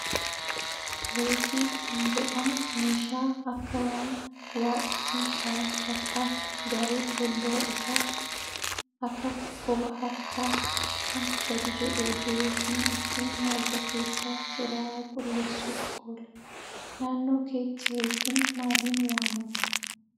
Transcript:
Reekii kan jedhamu meeshaa akka waan waa ittiin haran fakkaatu garuu fuuldura isaatti akak quba harkaa kan gadi jedhee jiruu fi ittin marga keessaa xuraa'aa qulleessuuf oola. Naannoo keetti reekiin maaliin waamama?